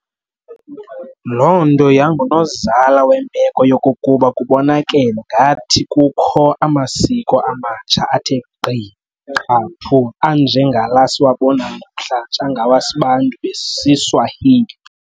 Loo nto yangunozala wemeko yokokuba kubonakale ngathi kukho amasiko amatsha athe gqi qhaphu, anje ngala siwabonayo namhlanje angawa Sbantu besiSwahili.